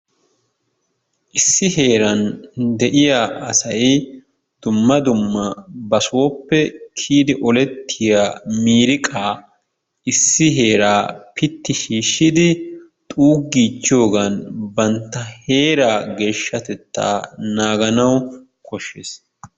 Issi heeran de'iyaa asay dumma dumma ba sooppe kiyyidi ollettiyaa miriiqaa issi heeraa piitti shiishshidi xuuggichiyoogan bantta heeraa geeshshatettaa naaganawu kooshshees.